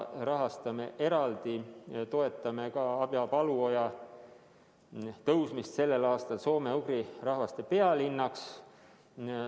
Me toetame Abja-Paluoja tõusmist sellel aastal soome-ugri rahvaste pealinnaks.